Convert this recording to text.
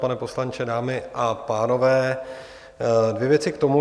Pane poslanče, dámy a pánové, dvě věci k tomu.